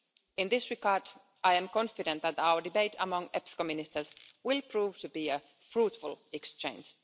In this regard, I am confident that our debate among EPSCO Ministers will prove to be a fruitful exchange.